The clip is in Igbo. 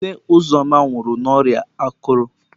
Nne Uzoma nwụrụ n'ọrịa akụrụ.